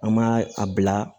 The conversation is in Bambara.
An m'a a bila